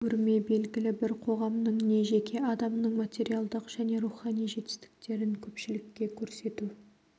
көрме белгілі бір қоғамның не жеке адамның материалдық және рухани жетістіктерін көпшілікке көрсету